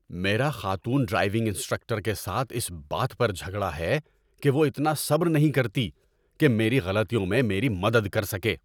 میرا خاتون driving instructor کے ساتھ اس بات پر جھگڑا ہے کہ وہ اتنا صبر نہیں کرتی کہ میری غلطیوں میں میری مدد کر سکے۔